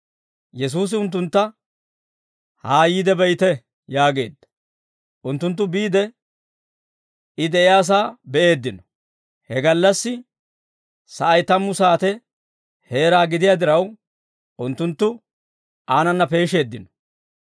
Yesuusi unttuntta, «Haa yiide be'ite» yaageedda. Unttunttu biide, I de'iyaasaa be'eeddino; he gallassi sa'ay tammu saate heera gidiyaa diraw, unttunttu aanana peesheeddino.